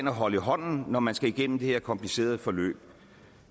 at holde i hånden når man skal igennem det her komplicerede forløb